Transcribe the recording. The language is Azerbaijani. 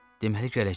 Deməli gələcək.